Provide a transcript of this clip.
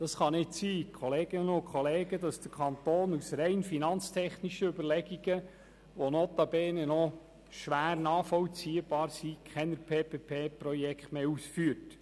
Es kann nicht sein, Kolleginnen und Kollegen, dass der Kanton aus rein finanztechnischen Überlegungen, die notabene noch schwer nachvollziehbar sind, keine PPP-Projekte mehr ausführt.